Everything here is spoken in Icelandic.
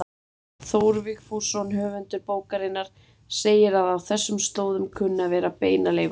Þór Vigfússon höfundur bókarinnar segir að á þessum slóðum kunni að vera beinaleifar.